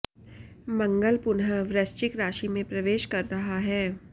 मंगल पुनः वृश्चिक राशि में प्रवेश कर रहा है